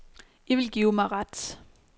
I vil give mig ret.